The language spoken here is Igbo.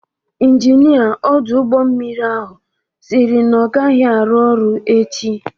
Injinia ọdụ ụgbọ mmiri ahụ si na ọ agaghị arụ ọrụ echi.